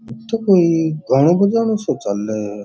इठे कोई गानो बजानो सा चाले है।